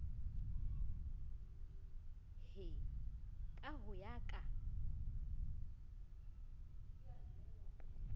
he ka ho ya ka